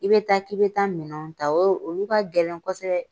I bɛ taa k'i bɛ taa minɛnw ta o olu ka gɛlɛn kosɛbɛ.